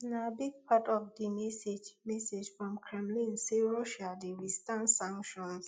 na big part of di message message from kremlin say russia dey withstand sanctions